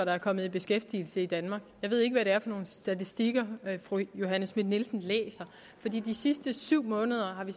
der er kommet i beskæftigelse i danmark jeg ved ikke hvad det er for nogle statistikker fru johanne schmidt nielsen læser for de sidste syv måneder har vi